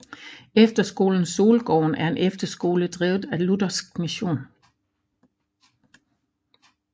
Efterskolen Solgården er en efterskole drevet af Luthersk Mission